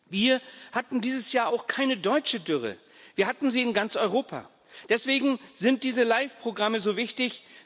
Wir hatten dieses Jahr auch keine deutsche Dürre, wir hatten sie in ganz Europa. Deswegen sind diese LIFE Programme so wichtig.